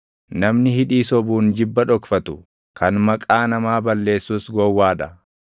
Namni hidhii sobuun jibba dhokfatu, kan maqaa namaa balleessus gowwaa dha.